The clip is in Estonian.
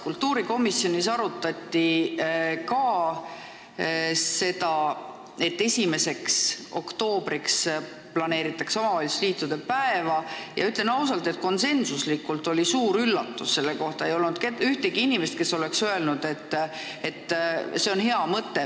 Ka kultuurikomisjonis arutati seda, et 1. oktoobriks planeeritakse omavalitsusliitude päeva, ja ütlen ausalt, et see oli meile kõigile suur üllatus – ei olnud ühtegi inimest, kes oleks öelnud, et see on hea mõte.